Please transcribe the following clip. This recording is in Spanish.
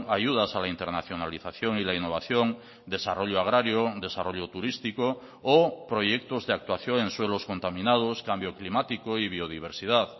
ayudas a la internacionalización y la innovación desarrollo agrario desarrollo turístico o proyectos de actuación en suelos contaminados cambio climático y biodiversidad